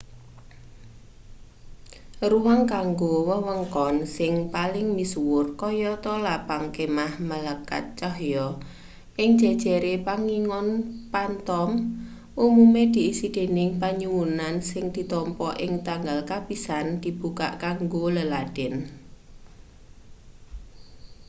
ruang kanggo wewengkon sing paling misuwur kayata lapang kemah malekat cahya ing jejere pangingon phantom umume diisi dening panyuwunan sing ditampa ing tanggal kapisan dibukak kanggo leladen